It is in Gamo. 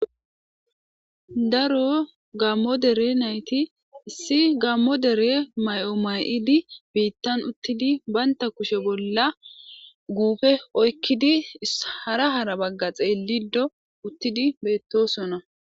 daro gammo dere nayti si gammo dere may7o may7idi biittan uttidi baynta kushe bolla guufe oykkidi hara hara bagga xeellido uttidi beettosona